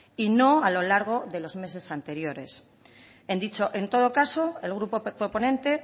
y no a lo largo de los meses anteriores en todo caso el grupo proponente